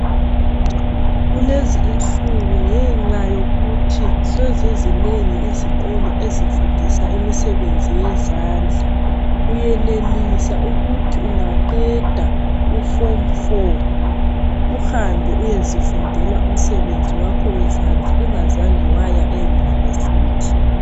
Kulezi insuku sezizinengi izikolo esifundisa imisebenzi yezandla. Uyenelisa ukuthi ungaqeda uForm 4 uhambe uyezifundela umsebenzi wakho wezandla ungazange waya e university.